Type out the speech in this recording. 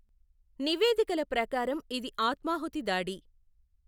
నివేదికల ప్రకారం, ఇది ఆత్మాహుతి దాడి.